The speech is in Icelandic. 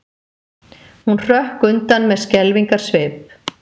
Hún hrökk undan með skelfingarsvip.